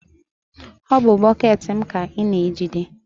ọ bụ bọket m ka ị na-ejide?